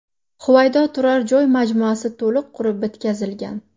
Huvaydo turar joy majmuasi to‘liq qurib bitkazilgan.